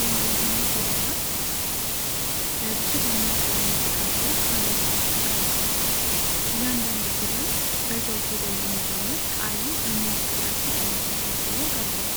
የእንግሊዝኛ ፊደላት ከ'A' እስከ 'Z' በብዙ ደማቅ ቀለም የተቀቡ ካሬዎች ውስጥ ተቀምጠዋል። እያንዳንዱ ፊደል በዛው ፊደል የሚጀምር ቃልን በሚወክል አስቂኝ ምስል ታጅቦ ቀርቧል።